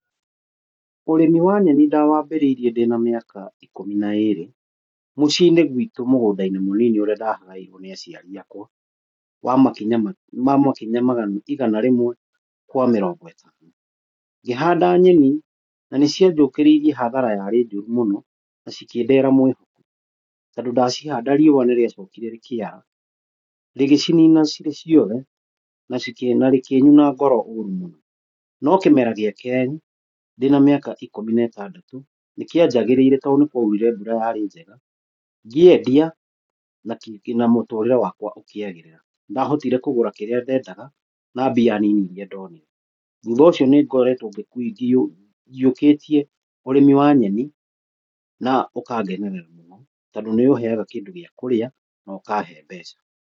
Ũrĩmi wa nyeni ndawambĩrĩrie ndĩna mĩaka ikũmi na ĩrĩ, mũciinĩ gwitũ mũgũndainĩ mũnini ũrĩa ndagaĩrwe nĩ aciari akwa wa makinya igana rĩmwe kwa mĩrongo ĩtano, ngĩhanda nyeni na nĩciajũkĩrĩirie hathara yarĩ njũru mũno na ngĩhanda riũa nĩrĩacokire rĩkĩara, rĩgĩkĩnina cirĩ ciothe na rĩkĩnyuna ngoro ũrũ mũno, no kĩmera gĩa kerĩ ndĩna mĩaka ya ikũmi na ĩtandatũ nĩkĩjagĩrĩire tondũ nĩkwaurire mbura yaarĩ njega, ngĩendia na mũtũrĩre wakwa ũkĩgĩrĩra, ndahotire kũgũra kĩrĩa ndedaga na mbia nini iria ndonire, thutha ũcio nĩngoretwo yũkĩtie ũrĩmi wa nyeni na ũkangenerera mũno tondũ nĩũheaga indo cia kũrĩa nokahe mbeca.